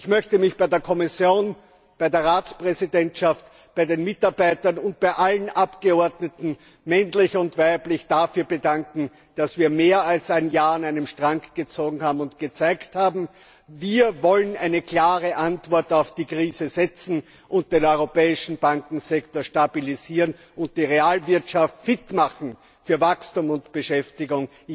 Ich möchte mich bei der Kommission, bei der Ratspräsidentschaft, bei den Mitarbeitern und bei allen Abgeordneten, männlich und weiblich, dafür bedanken, dass wir mehr als ein Jahr an einem Strang gezogen und gezeigt haben, dass wir eine klare Antwort auf die Krise geben und den europäischen Bankensektor stabilisieren und die Realwirtschaft fit machen für Wachstum und Beschäftigung.